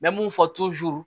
N bɛ mun fɔ